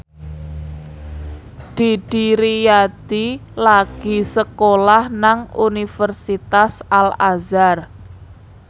Didi Riyadi lagi sekolah nang Universitas Al Azhar